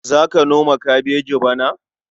Za ka noma kabeji bana?